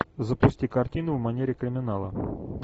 запусти картину в манере криминала